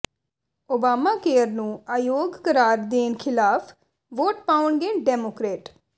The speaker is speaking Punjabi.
ਓਬਾਮਾ ਕੇਅਰ ਨੂੰ ਅਯੋਗ ਕਰਾਰ ਦੇਣ ਖਿਲਾਫ ਵੋਟ ਪਾਉਣਗੇ ਡੈਮੋਕ੍ਰੇਟ